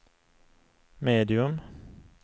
medium